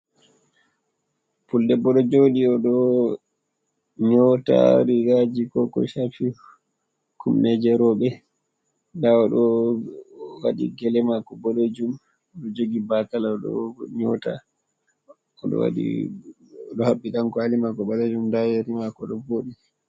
"Puldebbo" ɗo joɗi oɗo nyota rigaji ko ko shafi kumnejerobe nda oɗo waɗi gele mako boɗejum oɗo jogi batal oɗo nyota oɗo haɓɓi ɗan kwali mako ɓalejum nda yeri mako ɗo voɗi.